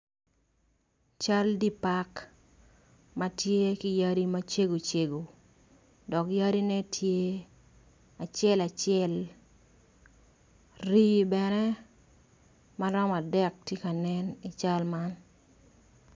Cal dipark matye ki yadi macego cego dok yadi ne tye acel acel rii bene maromo adek tye ka nen i cal man.